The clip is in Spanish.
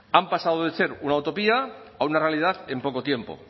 han pasado de ser una utopía a una realidad en poco tiempo